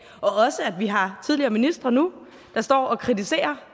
og også at vi har tidligere ministre nu der står og kritiserer